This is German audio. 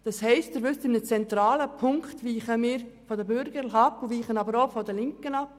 Das heisst, in einem zentralen Punkt weichen wir von den Bürgerlichen, aber auch von den Linken ab.